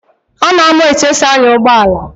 Ọ na-amụ etu esi anya ụgbọala